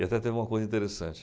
E até teve uma coisa interessante.